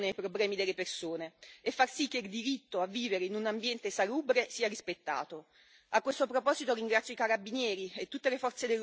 Il compito della politica è quello di dare delle risposte e delle soluzioni ai problemi delle persone e far sì che il diritto a vivere in un ambiente salubre sia rispettato.